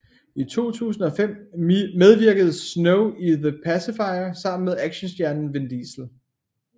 I 2005 medvirkede Snow i The Pacifier sammen med actionstjernen Vin Diesel